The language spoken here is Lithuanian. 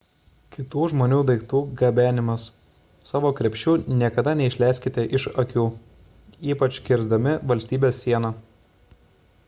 kitų žmonių daiktų gabenimas savo krepšių niekada neišleiskite iš akių ypač kirsdami valstybės sieną